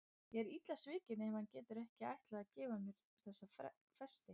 Ég er illa svikin ef hann hefur ekki ætlað að gefa mér þessa festi.